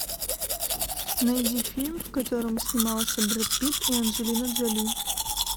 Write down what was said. найди фильм в котором снимался брэд питт и анджелина джоли